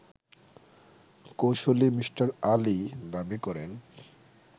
কৌঁসুলি মি. আলী দাবি করেন